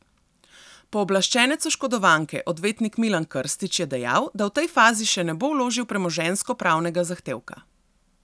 Pooblaščenec oškodovanke, odvetnik Milan Krstič, je dejal, da v tej fazi še ne bo vložil premoženjskopravnega zahtevka.